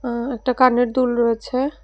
আঃ একটা কানের দুল রয়েছে।